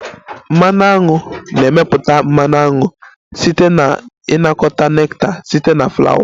Mmanụ aṅu na-emepụta mmanụ aṅụ site na ịnakọta nectar site na Flawa